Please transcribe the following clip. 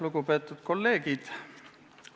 Lugupeetud kolleegid!